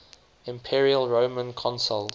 imperial roman consuls